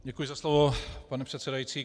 Děkuji za slovo, pane předsedající.